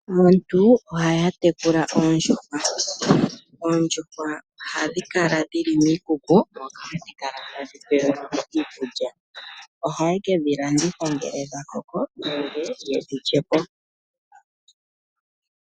Aantu ohaya tekula oondjuhwa. Oondjuhwa ohadhi kala dhili miikuku moka hadhi kala tadhi pewelwamo iikulya. Aantu ohaye kedhi landitha ngele dha koko nenge yedhi lyepo.